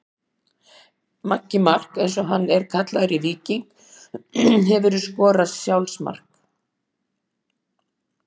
Maggi Mark eins og hann er kallaður í Víking Hefurðu skorað sjálfsmark?